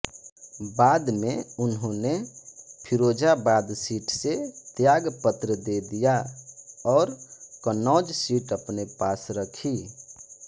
बाद में उन्होंने फिरोजाबाद सीट से त्यागपत्र दे दिया और कन्नौज सीट अपने पास रखी